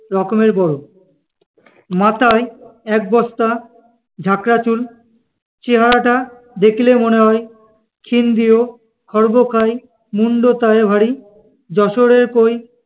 রকমের বড়, মাথায় এক বস্তা ঝাঁকড়া চুল। চেহারাটা দেখিলে মনে হয়, ক্ষীনদেহ, খর্বকাই, মুণ্ড তাহে ভারি যশোরের কই